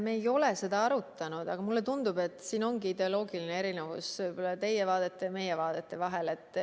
Me ei ole seda arutanud, aga mulle tundub, et siin ongi ideoloogiline erinevus teie vaadete ja meie vaadete vahel.